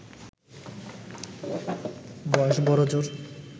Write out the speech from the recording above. বয়স বড়জোর